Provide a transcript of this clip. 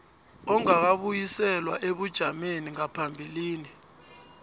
ongakabuyiselwa ebujameni bangaphambilini